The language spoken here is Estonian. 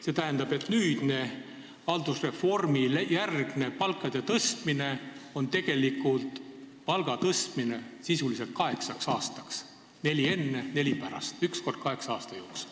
See tähendab, et nüüdne haldusreformijärgne palkade tõstmine on sisuliselt palga tõstmine kaheksaks aastaks – neli enne, neli pärast ehk üks kord kaheksa aasta jooksul.